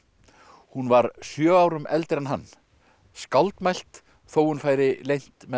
hún var sjö árum eldri en hann skáldmælt þó hún færi leynt með það